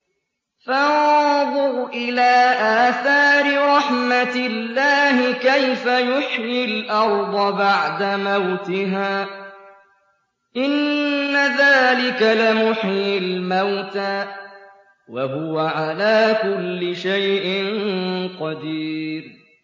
فَانظُرْ إِلَىٰ آثَارِ رَحْمَتِ اللَّهِ كَيْفَ يُحْيِي الْأَرْضَ بَعْدَ مَوْتِهَا ۚ إِنَّ ذَٰلِكَ لَمُحْيِي الْمَوْتَىٰ ۖ وَهُوَ عَلَىٰ كُلِّ شَيْءٍ قَدِيرٌ